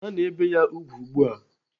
Ana ebe ya ùgwù ugbu a.